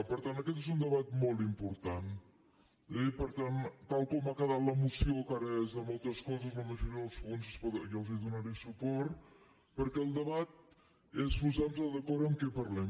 per tant aquest és un debat molt important eh i per tant tal com ha quedat la moció que ara és de moltes coses a la majoria dels punts jo els donaré suport perquè el debat és posar nos d’acord sobre què parlem